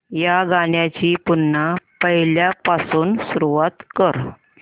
या गाण्या ची पुन्हा पहिल्यापासून सुरुवात कर